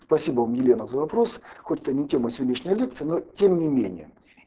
спасибо елена за вопрос хоть это не тема сегодняшней лекции но тем не менее